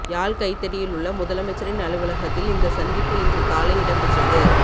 யாழ் கைதடியிலுள்ள முதலமைச்சரின் அலுவலகத்தில் இந்த சந்திப்பு இன்று காலை இடம்பெற்றது